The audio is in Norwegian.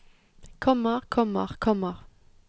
kommer kommer kommer